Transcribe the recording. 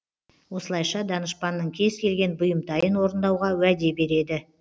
осылайша данышпанның кез келген бұйымтайын орындауға уәде береді